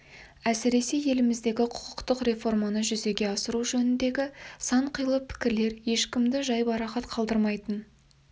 әсіресе еліміздегі құқықтық реформаны жүзеге асыру жөніндегі сан қилы пікірілері ешкімді жайбарақат қалдырмайтын